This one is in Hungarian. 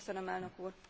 Köszönöm elnök úr!